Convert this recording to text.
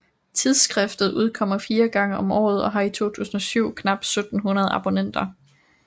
Tidsskriftet udkommer 4 gange om året og har i 2007 knap 1700 abonnenter